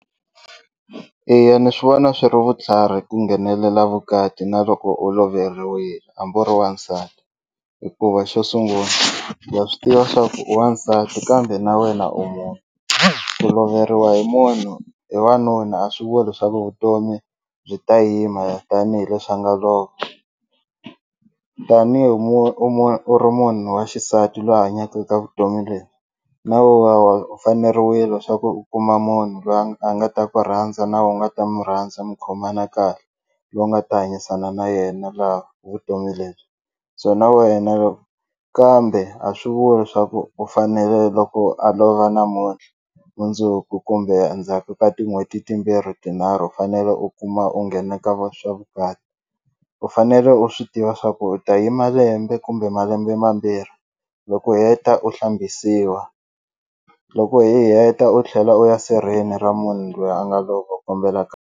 Eya ni swi vona swi ri vutlhari ku nghenelela vukati na loko u loveriwile hambi u ri wansati hikuva xo sungula ha swi tiva swa ku i wansati kambe na wena u munhu ku loveriwa hi munhu hi wanuna a swi vuli leswaku vutomi byi ta yima tanihileswi a nga lova tanihi u ri munhu wa xisati loyi a hanyaka eka vutomi lebyi na we wa wa u faneriwile swa ku u kuma munhu loyi a nga ta ku rhandza na we u nga ta mu rhandza mi khomana kahle loyi u nga ta hanyisana na yena laha vutomi lebyi so na wena kambe a swi vuli leswaku u fanele loko a lova namuntlha mundzuku kumbe endzhaku ka tin'hweti timbirhi tinharhu u fanele u kuma u nghena ka va swa vukati u fanele u swi tiva swa ku u ta yima lembe kumbe malembe mambirhi loko u heta u hlambisiwa loko hi heta u tlhela u ya sirheni ra munhu loyi a nga lova u kombela .